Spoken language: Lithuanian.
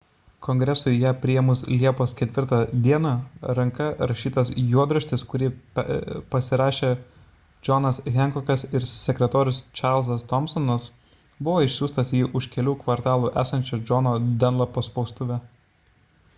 kongresui ją priėmus liepos 4 d ranka rašytas juodraštis kurį pasirašė džonas henkokas ir sekretorius čarlzas tomsonas buvo išsiųstas į už kelių kvartalų esančią džono danlapo spaustuvę